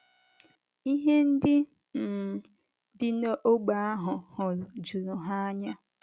Ihe ndị um bi n’ógbè ahụ hụrụ juru ha anya.